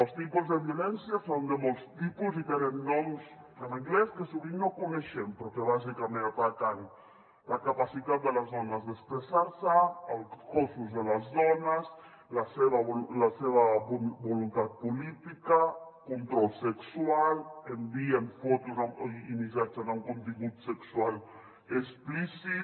els tipus de violència són de molts tipus i tenen noms en anglès que sovint no coneixem però que bàsicament ataquen la capacitat de les dones d’expressar se els cossos de les dones la seva voluntat política control sexual envien fotos i missatges amb contingut sexual explícit